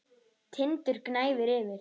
Tindur gnæfir yfir.